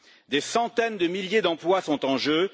Des centaines de milliers d'emplois sont en jeu.